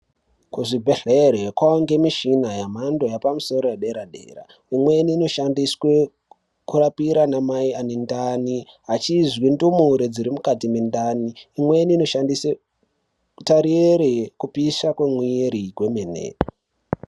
Kuzvibhedhlere kwawande mishina yamhando yapamusoro yedera dera imweni inoshandiswa kurapa ana mai ane ndani achizvindumure dziri mukati mendani imweni inoshandiswe kutarire kupisha kwemiri kwemene.